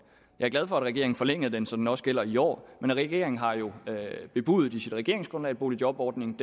jeg er glad for at regeringen forlængede den så den også gælder i år men regeringen har jo bebudet i sit regeringsgrundlag at boligjobordningen